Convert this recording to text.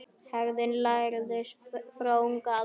Hegðun lærist frá unga aldri.